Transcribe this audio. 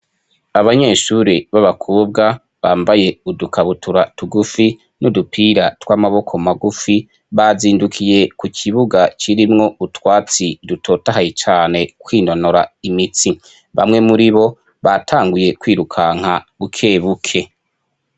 Abanyeshuri babakobwa bambaye udukabutura tugufi n'udupira tw'amaboko magufi bazindukiye ku kibuga kirimwo utwatsi dutotahaye cane kwinonora imitsi, bamwe muribo batanguye kwirukanka bukebuke.